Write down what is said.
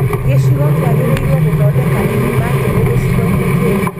Gicigo kĩagĩrĩirũo gũthondeka ithima njerũ gĩcigo-inĩ kĩu.